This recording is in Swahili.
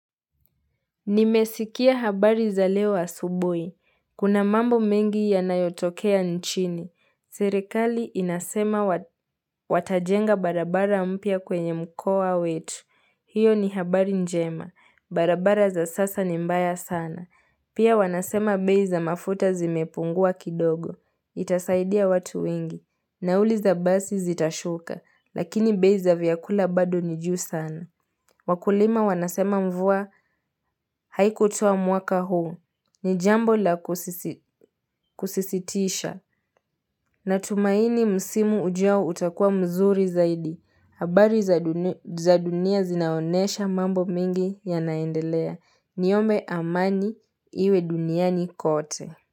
Nimesikia habari za leo asubui. Kuna mambo mengi yanayotokea nchini. Serekali inasema watajenga barabara mpya kwenye mkoa wetu. Hiyo ni habari njema. Barabara za sasa ni mbaya sana. Pia wanasema bei za mafuta zimepungua kidogo. Itasaidia watu wengi. Nauli za basi zitashuka. Lakini bei za vyakula bado ni juu sana. Wakulima wanasema mvua haikutoa mwaka huu. Ni jambo la kusisitisha. Natumaini msimu ujao utakua mzuri zaidi. Habari za dunia zinaonesha mambo mingi yanaendelea. Niombe amani iwe duniani kote.